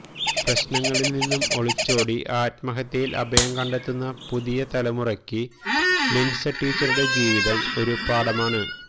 പ്രശ്നങ്ങളിൽ നിന്നും ഒളിച്ചോടി ആത്മഹത്യയിൽ അഭയം കണ്ടെത്തുന്ന പുതിയ തലമുറക്ക് ലിൻസ ടീച്ചറുടെ ജീവിതം ഒരു പാഠമാണ്